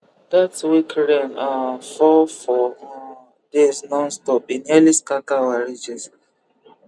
that week rain um fall four um days nonstop e nearly scatter our ridges